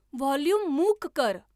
volume मूक कर